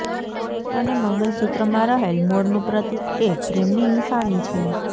અને મંગલસૂત્રમાં રહેલ મોરનું પ્રતિક એ પ્રેમની નિશાની છે